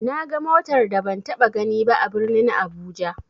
Naga motar da ban taɓa ganiba a birnin abuja.